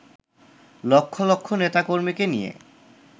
লক্ষ লক্ষ নেতাকর্মীকে নিয়ে